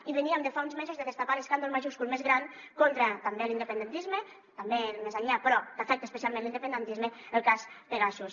i veníem de fa uns mesos de destapar l’escàndol majúscul més gran contra l’independentisme també més enllà però que afecta especialment l’independentisme el cas pegasus